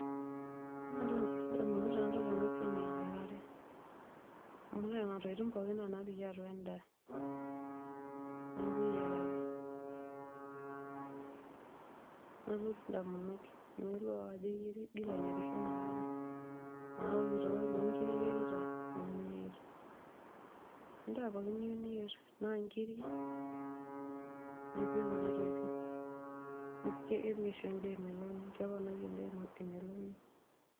Ore entoki nalotu ndamunot aang enidol enasiai na eyiarare, amu nona tokitin nona napiki endaa neaku eyiararebnalotu ndamunot amu idolta okotoyo lonkirik iyierita endaa pookin niyieu niyer tanaa nkirik nipik kuna tokitin, kepik oshi endaa emeloni ,keponari endaa emeloni.